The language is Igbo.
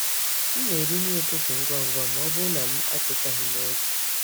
M na-eri nri ụtụtụ ngwa ngwa ma ọ bụrụ na m atetaghị n’oge.